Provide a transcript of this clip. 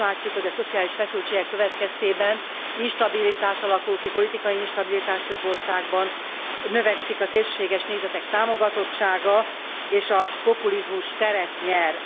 Azt látjuk, hogy a szociális feszültségek következtében instabilitás alakul ki, politikai instabilitás, több országban növekszik a szélsőséges nézetek támogatottsága, és a populizmus teret nyer.